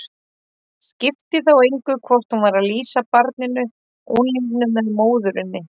Skipti þá engu hvort hún var að lýsa barninu, unglingnum eða móðurinni.